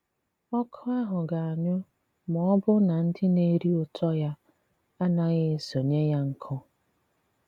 Ọ̀kụ́ ahụ̀ ga-anyụ ma ọ̀bụ̀ na ndị na-erí ùtọ́ ya a naghị esònyé yà nkụ́